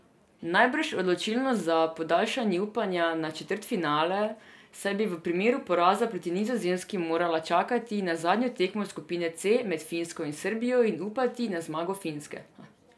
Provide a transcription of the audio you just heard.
Najbrž odločilno za podaljšanje upanja na četrtfinale, saj bi v primeru poraza proti Nizozemski morala čakati na zadnjo tekmo skupine C med Finsko in Srbijo in upati na zmago Finske.